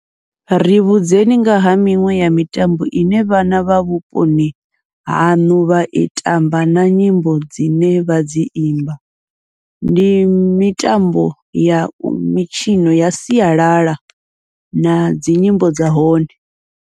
Ri vhudzekani ngaha miṅwe ya mitambo ine vhana vha vhuponi haṋu vha i tamba na nyimbo dzine vha dzi imba, ndi mitambo ya mitshino ya sialala nadzi nyimbo dza hone.